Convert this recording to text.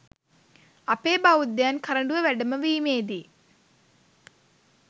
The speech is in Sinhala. අපේ බෞද්ධයන් කරඩුව වැඩමවීමේදී